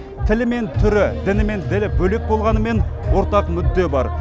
тілі мен түрі діні мен ділі бөлек болғанымен ортақ мүдде бар